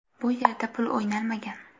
Bu yerda pul o‘ynalmagan.